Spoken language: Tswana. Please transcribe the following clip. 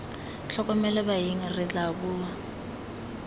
tlhokomele baeng re tla bua